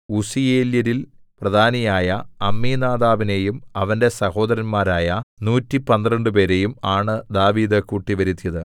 ഉസ്സീയേല്യരിൽ പ്രധാനിയായ അമ്മീനാദാബിനെയും അവന്റെ സഹോദരന്മാരായ നൂറ്റിപ്പന്ത്രണ്ടുപേരെയും 112 ആണ് ദാവീദ് കൂട്ടിവരുത്തിയത്